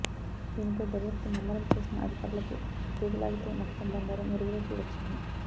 దీనిపై దర్యాప్తు ముమ్మరం చేసిన అధికారులకు తీగ లాగితే మొత్తం బండారం వెలుగులోకి వచ్చింది